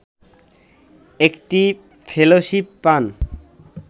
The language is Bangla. একটি ফেলোশিপ পান